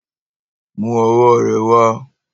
Mú ọwọ́ rẹ wa.